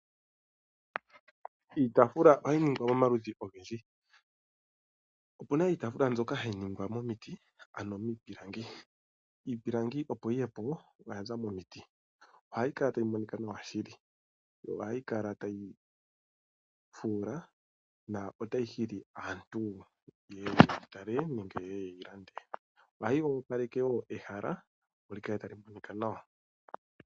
Iitafula ohayi ningwa momaludhi ogendji. Opuna iitafula mbyoka hayi ningwa momiti ano miipilangi. Iipilangi opo yiye po oyaza momiti, ohayi kala tayi monika nawa shili, yo ohayi kala tayi fuula na otayi hili aantu yeye yeyi tale nenge yeye yeyi lande. Ohayi opaleke wo ehala opo li kale tali monika nawa.